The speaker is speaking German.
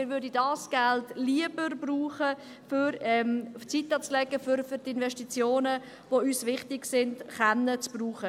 Wir würden dieses Geld lieber brauchen, um es zur Seite zu legen, damit wir es für die Investitionen, die uns wichtig sind, verwenden können.